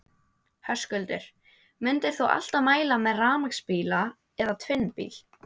Höskuldur: Myndir þú alltaf mæla með rafmagnsbíla eða tvinnbíl?